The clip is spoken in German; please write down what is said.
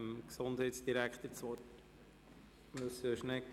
Ich gebe nun dem Herrn Gesundheitsdirektor das Wort.